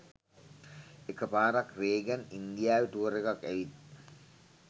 එක පාරක් රේගන් ඉන්දියාවෙ ටුවර් එකක් ඇවිත්